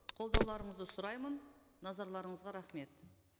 қолдауларыңызды сұраймын назарларыңызға рахмет